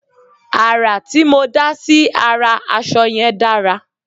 àrà tí mó dá sí ará aṣọ yẹn dára